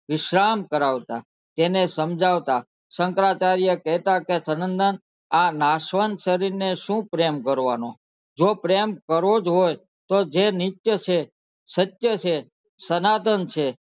વિશ્રામ કરાવતા તેને સમજાવતા શંકરાચાર્ય કેહતા સનન દનન આ નાસવત શરીરને શુ પ્રેમ કરવાનો જો પ્રેમ કરવો જ હોય તો જે નિચર હોય સચર છે સનાતન છે